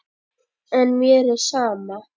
En mér er sama.